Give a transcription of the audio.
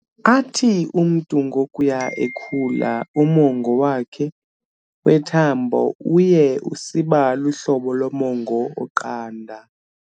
Athi umntu ngokuya ekhula, umongo wakhe wethambo uye usiba luhlobo lomongo oqanda.